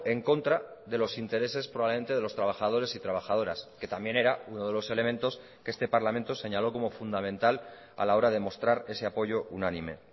en contra de los intereses probablemente de los trabajadores y trabajadoras que también era uno de los elementos que este parlamento señaló como fundamentala la hora de mostrar ese apoyo unánime